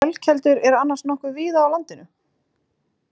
Ölkeldur eru annars nokkuð víða á landinu.